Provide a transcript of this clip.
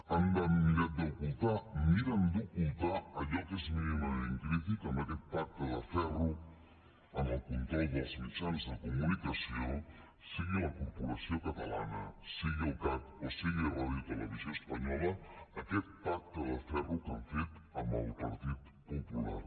han mirat d’ocultar miren d’ocultar allò que és mínimament crític amb aquest pacte de ferro en el control dels mitjans de comunicació sigui la corporació catalana sigui el cac o sigui radiotelevisió espanyola aquest pacte de ferro que han fet amb el partit popular